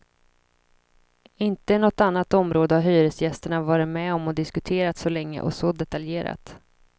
Inte i något annat område har hyresgästerna varit med och diskuterat så länge och så detaljerat.